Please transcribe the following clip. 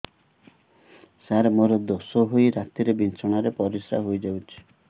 ସାର ମୋର ଦୋଷ ହୋଇ ରାତିରେ ବିଛଣାରେ ପରିସ୍ରା ହୋଇ ଯାଉଛି